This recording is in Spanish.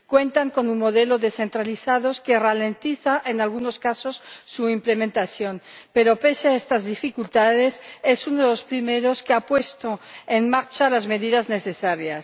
Cuenta con un modelo descentralizado que ralentiza, en algunos casos, su implementación, pero, pese a estas dificultades, es uno de los primeros que ha puesto en marcha las medidas necesarias.